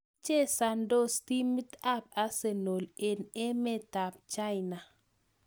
Chesandos timit ap arsenal eng' emet ap china